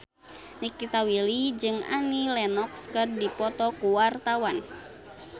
Nikita Willy jeung Annie Lenox keur dipoto ku wartawan